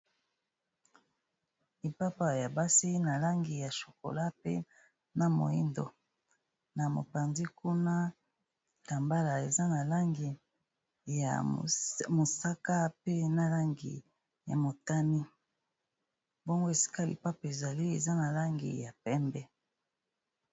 Lipapa ya basi na langi ya chokola pe na moyindo na mopanzi kuna ta mbala eza na langi ya mosaka pe nalangi ya motani mbongo esika lipapa ezali eza na langi ya pembe.